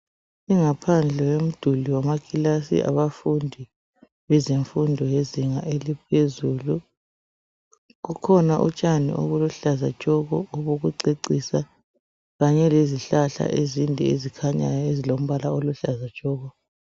Ingaphandle komduli wamakilasi abafundi bezemfundo yezinga eliphezulu, kukhona utshani obuluhlaza tshoko obokucecisa kanye lezihlahla ezinde ezikhanyayo ezilombala oluhlaza tshoko.